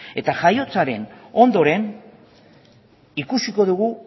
eta jaiotzaren ondoren ikusiko dugu